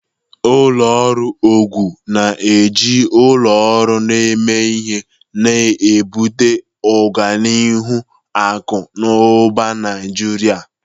Ụlọ ọrụ Ogun na-eji ụlọ ọrụ na-eme ihe, na-ebute ọganihu akụ na ụba Naijiria.